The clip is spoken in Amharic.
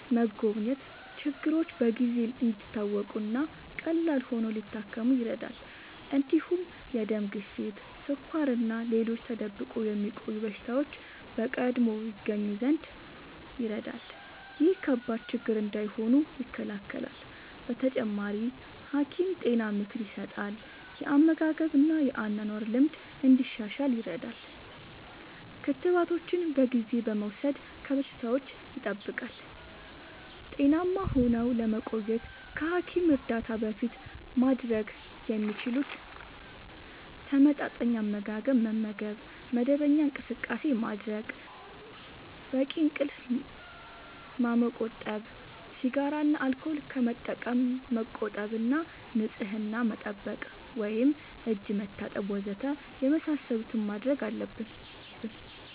መጎብኘት ችግሮች በጊዜ እንዲታወቁ እና ቀላል ሆነው ሊታከሙ ይረዳል። እንዲሁም የደም ግፊት፣ ስኳር እና ሌሎች ተደብቆ የሚቆዩ በሽታዎች በቀድሞ ይገኙ ዘንድ ይረዳል። ይህም ከባድ ችግር እንዳይሆኑ ይከላከላል። በተጨማሪ፣ ሐኪም ጤና ምክር ይሰጣል፣ የአመጋገብ እና የአኗኗር ልምድ እንዲሻሻል ይረዳል። ክትባቶችን በጊዜ በመውሰድ ከበሽታዎች ይጠብቃል። ጤናማ ሆነው ለመቆየት ከሐኪም እርዳታ በፊት ማድረግ የሚችሉት፦ ተመጣጣኝ አመጋገብ መመገብ፣ መደበኛ እንቅስቃሴ ማድረግ፣ በቂ እንቅልፍ ማመቆጠብ፣ ሲጋራ እና አልኮል ከመጠቀም መቆጠብ እና ንጽህና መጠበቅ (እጅ መታጠብ ወዘተ) የመሳሰሉትን ማድረግ አለብን።